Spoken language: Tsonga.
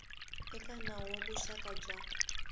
eka nawu wa vuxaka bya